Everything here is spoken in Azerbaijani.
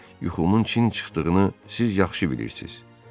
Yuxumun çin çıxdığını siz yaxşı bilirsiniz.